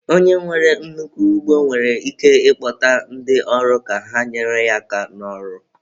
Onye nwere nnukwu ugbo nwere ike ịkpọta ndị ọrụ ka ha nyere ya aka n'ọrụ